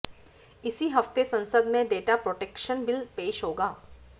इसी हफ्ते संसद में डेटा प्रोटेक्शन बिल पेश होगा